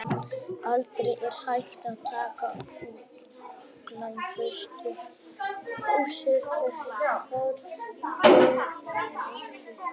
Aldrei er hægt að taka utanlegsfóstur og setja það inn í legholið.